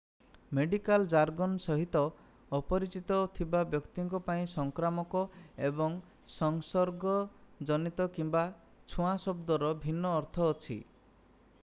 medical jargon ସହିତ ଅପରିଚିତ ଥିବା ବ୍ୟକ୍ତିଙ୍କ ପାଇଁ ସଂକ୍ରାମକ ଏବଂ ସଂସର୍ଗଜନିତ କିମ୍ବା ଛୁଆଁ ଶବ୍ଦର ଭିନ୍ନ ଅର୍ଥ ଅଛି